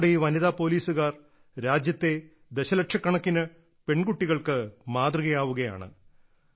നമ്മുടെ ഈ വനിതാ പോലീസുകാർ രാജ്യത്തെ ദശലക്ഷക്കണക്കിന് പെൺകുട്ടികൾക്ക് മാതൃകയാവുകയാണ്